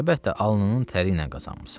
Əlbəttə, alnının tərili qazanmısan.